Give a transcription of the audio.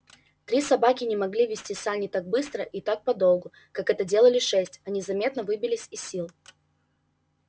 три собаки не могли везти сани так быстро и так подолгу как это делали шесть они заметно выбились из сил